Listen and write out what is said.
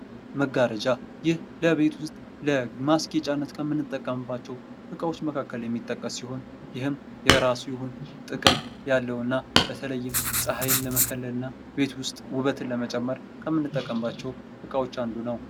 መጋረጃ ይህ ለቤት ውስጥ ለማስጌጫነት ከምንጠቀምባቸው ዕቃዎች መካከል የሚጠቀስ ሲሆን፤ ይህም የራሱ የሆነ ጥቅም ያለውና በተለይም ፀሐይ ለመክፈልና ቤት ውስጥ ውበት ለመጨመር ከምንጠቀምባቸው ዕቃዎች አንዱ ነው።